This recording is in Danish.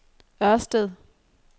Ørsted